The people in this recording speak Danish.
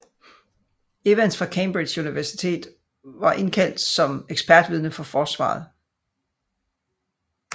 Evans fra Cambridge Universitet var indkaldt som ekspertvidne for forsvaret